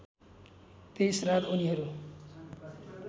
त्यस रात उनीहरू